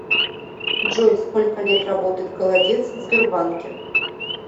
джой сколько лет работает голодец в сбербанке